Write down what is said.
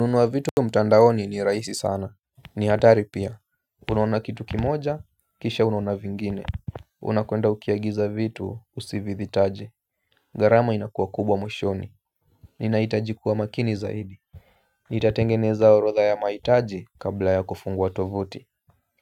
Nunuwa vitu mtandaoni ni rahisi sana. Ni hatari pia. Unaona kitu kimoja, kisha unaona vingine. Unakwenda ukiagiza vitu usivihitaji. Gharama inakuwa kubwa mwishoni. Ninahitaji kuwa makini zaidi. Nitatengeneza orodha ya mahitaji kabla ya kufungua tovuti.